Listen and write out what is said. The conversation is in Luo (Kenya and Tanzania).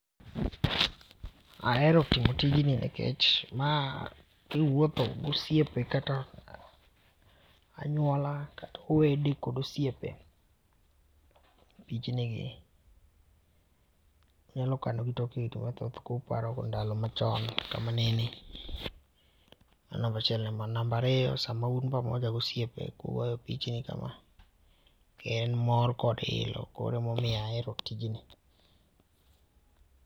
Ahero timo tijni nikech ma ki iwuotho gosiepe, kata anyuola, kata owede kod osiepe pichni gi inyalo kano gi tok higni mathoth ku paro go ndalo machon ka manene, mano namba achiel ne mano. Namba ariyo, sama un pamoja gi osiepe kugoyo pichni ka ma to en mor kod ilo, ema omiyo ahero tijni.